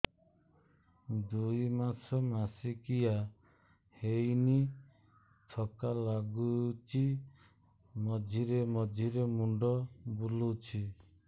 ଦୁଇ ମାସ ମାସିକିଆ ହେଇନି ଥକା ଲାଗୁଚି ମଝିରେ ମଝିରେ ମୁଣ୍ଡ ବୁଲୁଛି